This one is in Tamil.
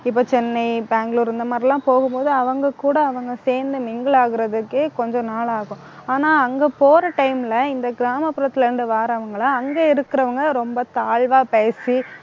இப்ப சென்னை, பெங்களூர் இந்த மாதிரி எல்லாம் போகும்போது அவங்க கூட அவங்க சேர்ந்து mingle ஆகுறதுக்கே கொஞ்சம் நாளாகும் ஆனா, அங்க போற time ல இந்த கிராமப்புறத்துல இருந்து வர்றவங்களை அங்க இருக்கிறவங்க ரொம்ப தாழ்வா பேசி